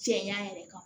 Cɛya yɛrɛ kan